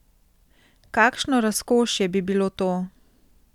Kakšno razkošje bi bilo to!